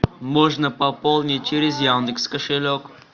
можно пополнить через яндекс кошелек